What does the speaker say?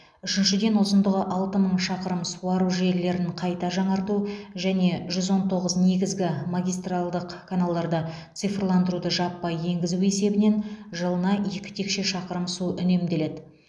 үшіншіден ұзындығы алты мың шақырым суару желілерін қайта жаңарту және жүз он тоғыз негізгі магистралдық каналдарда цифрландыруды жаппай енгізу есебінен жылына екі текше шақырым су үнемделеді